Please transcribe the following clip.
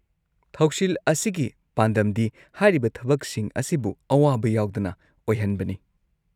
ꯊꯧꯁꯤꯜ ꯑꯁꯤꯒꯤ ꯄꯥꯟꯗꯝꯗꯤ ꯍꯥꯏꯔꯤꯕ ꯊꯕꯛꯁꯤꯡ ꯑꯁꯤꯕꯨ ꯑꯋꯥꯕ ꯌꯥꯎꯗꯅ ꯑꯣꯏꯍꯟꯕꯅꯤ꯫